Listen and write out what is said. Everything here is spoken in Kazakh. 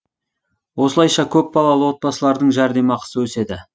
осылайша көпбалалы отбасылардың жәрдемақысы өседі